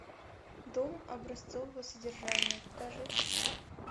дом образцового содержания покажи